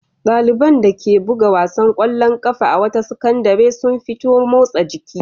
Ɗaliban dake buga wasan ƙwallon ƙafa a wata sakandare sun fito motsa jiki.